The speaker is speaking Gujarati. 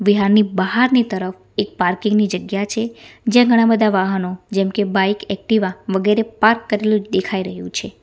બિહારની બહારની તરફ એક પાર્કિંગની ની જગ્યા છે જ્યાં ઘણા બધા વાહનો જેમકે બાઈક એકટીવા વગેરે પાર્ક કરેલું દેખાઈ રહ્યું છે.